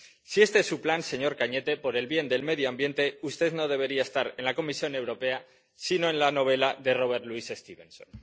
Si este es su plan, señor Cañete, por el bien del medio ambiente usted no debería estar en la Comisión Europea sino en la novela de Robert Louis Stevenson.